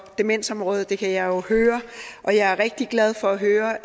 demensområdet det kan jeg jo høre og jeg er rigtig glad for at høre